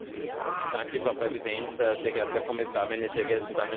Frau Präsidentin, sehr geehrter Herr Kommissar, meine sehr geehrten Damen und Herren!